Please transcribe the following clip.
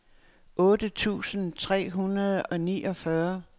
otte tusind tre hundrede og niogfyrre